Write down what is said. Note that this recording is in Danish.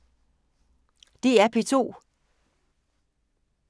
DR P2